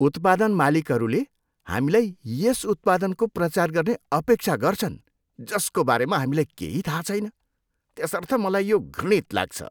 उत्पादन मालिकहरूले हामीलाई यस उत्पादनको प्रचार गर्ने अपेक्षा गर्छन् जसको बारेमा हामीलाई केही थाहा छैन त्यसर्थ मलाई यो घृणित लाग्छ।